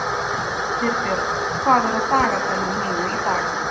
Styrbjörn, hvað er á dagatalinu mínu í dag?